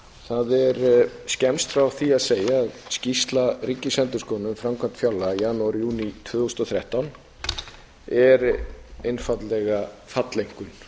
það er skemmst frá því að segja að skýrsla ríkisendurskoðunar um framkvæmd fjárlaga í janúar júní tvö þúsund og þrettán er einfaldlega falleinkunn fyrir